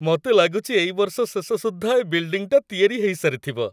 ମତେ ଲାଗୁଚି ଏଇ ବର୍ଷ ଶେଷ ସୁଦ୍ଧା ଏ ବିଲ୍‌ଡିଂଟା ତିଆରି ହେଇସାରିଥିବ ।